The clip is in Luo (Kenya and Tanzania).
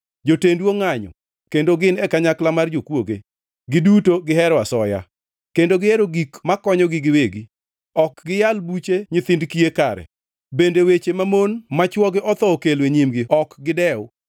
Jotendu ongʼanyo kendo gin e kanyakla mar jokwoge, giduto gihero asoya, kendo gihero gik makonyogi giwegi. Ok giyal buche nyithind kiye kare, bende weche mamon ma chwogi otho okelo e nyimgi ok gidew.